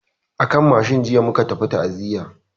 A kan mashin jiya muka tafi ta'aziyan.